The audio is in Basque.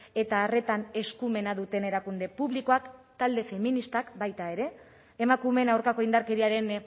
eta arretan eskumena duten erakunde publikoak talde feministak baita ere emakumeen aurkako indarkeriaren